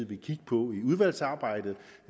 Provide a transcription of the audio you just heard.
vil kigge på i udvalgsarbejdet